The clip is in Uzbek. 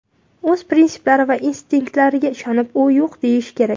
O‘z prinsiplari va instinktlariga ishonib, u yo‘q deyishi kerak.